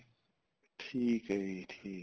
ਠੀਕ ਏ ਜੀ ਠੀਕ ਏ